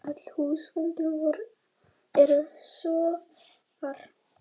Öll húsgögn eru sófar